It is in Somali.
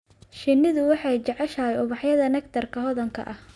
Shinnidu waxay jeceshahay ubaxyada nectar-ka hodanka ah.